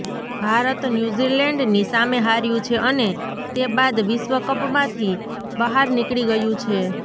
ભારત ન્યૂઝીલેન્ડની સામે હાર્યું છે અને તે બાદ વિશ્વ કપમાંથી બહાર નીકળી ગયું છે